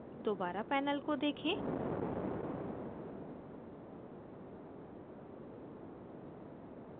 दोबारा panel को देखें